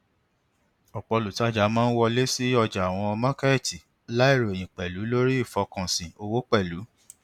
ọpọ olùtajà máa ń wọlé sí ọjà àwọn mọọkètì láì ròyìn pẹlú lórí ìfọkànsìn owó pẹlú